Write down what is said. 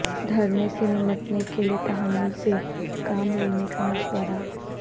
دھرنے سے نمٹنے کے لیے تحمل سے کام لینے کا مشورہ